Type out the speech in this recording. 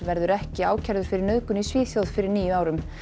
verður ekki ákærður fyrir nauðgun í Svíþjóð fyrir níu árum